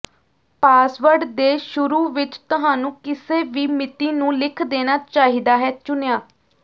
password ਦੇ ਸ਼ੁਰੂ ਵਿਚ ਤੁਹਾਨੂੰ ਕਿਸੇ ਵੀ ਮਿਤੀ ਨੂੰ ਲਿਖ ਦੇਣਾ ਚਾਹੀਦਾ ਹੈ ਚੁਣਿਆ